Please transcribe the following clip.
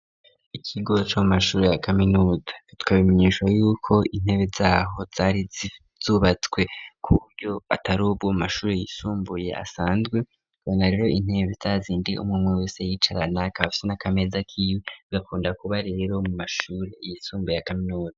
ikigo c,amashuri ya kaminuza turamenyesha yuko intebe zaho zari zubatswe ku buryo atarubwo amashuri yisumbuye asanzwe gubona rero intebe zazindi umwe wese yiyicarana akabafise n,akameza kiwe bakunda kuba rero mu mashuri yisumbuye ya kaminuza